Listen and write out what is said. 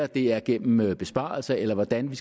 det er gennem besparelser eller hvordan vi